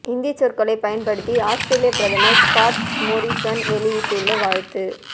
இந்தி சொற்களை பயன்படுத்தி ஆஸ்திரேலிய பிரதமர் ஸ்காட் மோரிசன் வெளியிட்டுள்ள வாழ்த்து